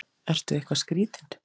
Ertu eitthvað skrýtinn?